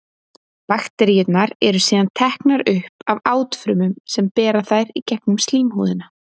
Bakteríurnar eru síðan teknar upp af átfrumum sem bera þær í gegnum slímhúðina.